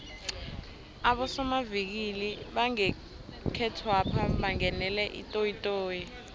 abosomavikili bangekhethwapha bangenele itoyitoyi